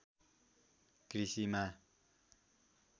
कृषिमा